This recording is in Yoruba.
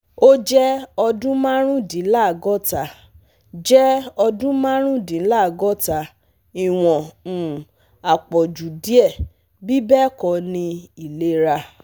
O jẹ ọdun marundinlagota, jẹ ọdun marundinlagota, iwọn um apọju diẹ, bibẹẹkọ ni ilera